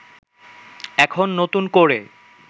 এখন নতুন করে